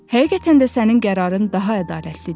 Həqiqətən də sənin qərarın daha ədalətlidir.